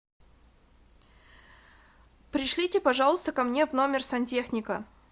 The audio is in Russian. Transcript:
пришлите пожалуйста ко мне в номер сантехника